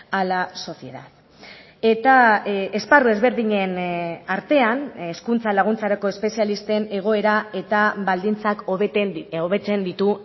a la sociedad eta esparru ezberdinen artean hezkuntza laguntzarako espezialisten egoera eta baldintzak hobetzen ditu